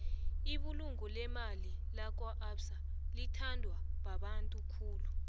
ibulungo lemali lakwaabsa litbandwa babantu khulu